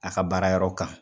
A ka baara yɔrɔ kan.